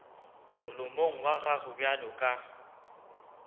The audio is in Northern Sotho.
molomong wa gago bjalo ka